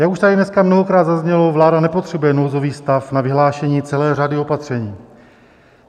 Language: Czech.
Jak už tady dneska mnohokrát zaznělo, vláda nepotřebuje nouzový stav na vyhlášení celé řady opatření.